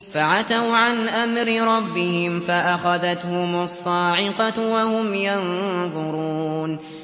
فَعَتَوْا عَنْ أَمْرِ رَبِّهِمْ فَأَخَذَتْهُمُ الصَّاعِقَةُ وَهُمْ يَنظُرُونَ